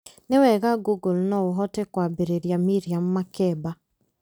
nĩ wega google no ũhote kwambĩrĩria miriam makeba